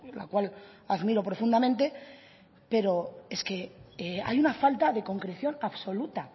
la cual admiro profundamente pero es que hay una falta de concreción absoluta